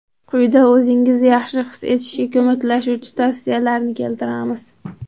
Quyida o‘zingizni yaxshi his etishga ko‘maklashuvchi tavsiyalarni keltiramiz.